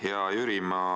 Hea Jüri!